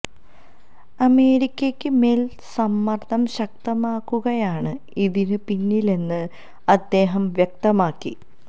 അമേരിക്കക്ക് മേല് സമര്ദ്ദം ശക്തമാക്കുകയാണ് ഇതിന് പിന്നിലെന്നും ആദ്ദേഹം വ്യക്തമാക്കി